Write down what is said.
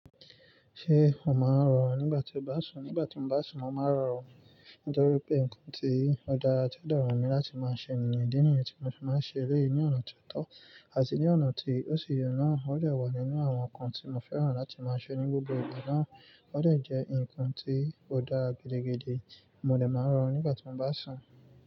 Ṣé o máa ń rọrùn nígbà tí o bá sùn? Nígbà tí mo bá sùn, mo máa ń rọrùn nítorí pé nǹkan tí ó dára tí ó dára mi láti máa ṣe ènìyàn èdèènìyàn tí mo fi máa ń ṣe eléyìí ní ọ̀nà tó tọ́ àti ní ọ̀nà tí ó ṣe ye náà ó dè wà nínú àwọn nǹkan tí mo fẹ́ràn láti máa ṣe ní gbogbo ìgbà náà ó dè jẹ́ nǹkan tí ó dára gídíigidi. Mo lè máa ń rọrùn nígbà tí mo bá sùn.